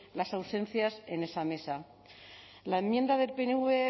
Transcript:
las ausencias en esa mesa la enmienda del pnv